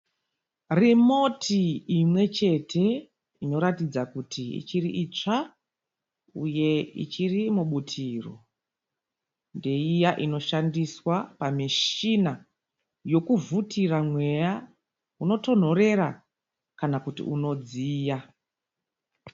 Rimoti imwechete inoratidza kuti ichiriitsva uye ichiri mubutiro. Ndeiya inoshandiswa pamishina yekuvhutira mweya unotonhorera kana kuti unodziya.